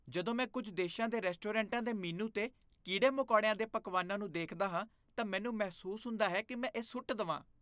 ਜਦੋਂ ਮੈਂ ਕੁੱਝ ਦੇਸ਼ਾਂ ਦੇ ਰੈਸਟੋਰੈਂਟਾਂ ਦੇ ਮੀਨੂ 'ਤੇ ਕੀੜੇ ਮਕੌੜਿਆਂ ਦੇ ਪਕਵਾਨਾਂ ਨੂੰ ਦੇਖਦਾ ਹਾਂ, ਤਾਂ ਮੈਨੂੰ ਮਹਿਸੂਸ ਹੁੰਦਾ ਹੈ ਕੀ ਮੈਂ ਇਹ ਸੁੱਟ ਦਵਾਂ